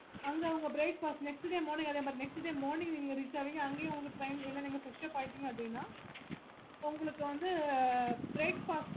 அங்க அவங்க breakfast next day morning அதே மாதிரி next day morning நீங்க ஆவிங்க அங்கேயும் வந்து train நீங்க fresh up ஆயிட்டிங்க அப்பிடின்னா உங்களுக்கு வந்து breakfast